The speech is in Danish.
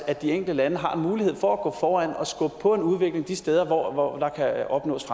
at de enkelte lande har en mulighed for at gå foran og skubbe på en udvikling de steder hvor der kan opnås